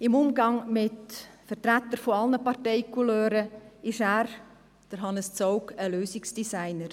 Im Umgang mit Vertretern jeglicher Partei-Couleur ist Hannes Zaugg ein Lösungsdesigner.